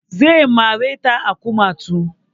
Zai mare ta a kumatu